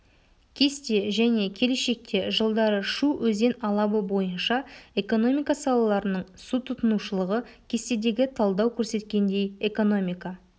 кесте және келешекте жылдары шу өзен алабы бойынша экономика салаларының су тұтынушылығы кестедегі талдау көрсеткендей экономика